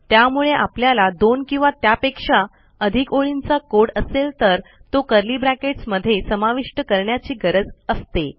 त्यामुळे आपल्याला दोन किंवा त्यापेक्षा अधिक ओळींचा कोड असेल तर तो कर्ली ब्रॅकेट्स मध्ये समाविष्ट करण्याची गरज असते